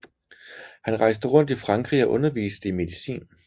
Han rejste rundt i Frankrig og underviste i medicin